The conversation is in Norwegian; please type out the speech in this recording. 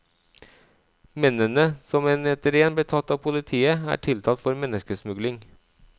Mennene, som en etter en ble tatt av politiet, er tiltalt for menneskesmugling.